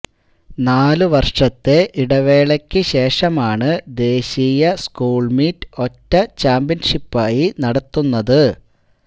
നാല് വര്ഷത്തെ ഇടവേളയ്ക്കു ശേഷമാണ് ദേശീയ സ്കൂള്മീറ്റ് ഒറ്റ ചാംപ്യന്ഷിപ്പായി നടത്തുന്നത്